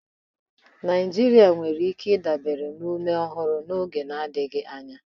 Naijiria nwere ike ịdabere na ume ọhụrụ n'oge adịghị anya.